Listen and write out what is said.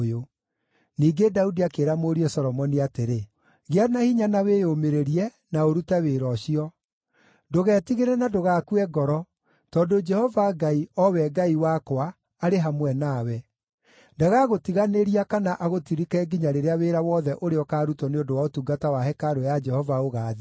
Ningĩ Daudi akĩĩra mũriũ Solomoni atĩrĩ, “Gĩa na hinya na wĩyũmĩrĩrie, na ũrute wĩra ũcio. Ndũgetigĩre na ndũgakue ngoro, tondũ Jehova Ngai, o we Ngai wakwa, arĩ hamwe nawe. Ndagagũtiganĩria kana agũtirike nginya rĩrĩa wĩra wothe ũrĩa ũkaarutwo nĩ ũndũ wa ũtungata wa hekarũ ya Jehova ũgaathira.